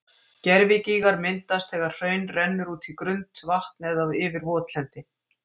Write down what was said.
Gervigígar myndast þegar hraun rennur út í grunnt vatn eða yfir votlendi.